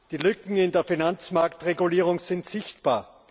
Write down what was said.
Die Lücken in der Finanzmarktregulierung sind sichtbar.